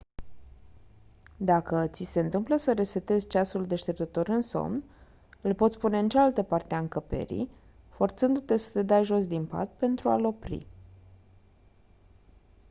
dacă ți se întâmplă să resetezi ceasul deșteptător în somn îl poți pune în cealaltă parte a încăperii forțându-te să te dai jos din pat pentru a-l opri